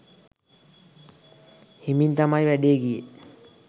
හිමින් තමයි වැඩේ ගියේ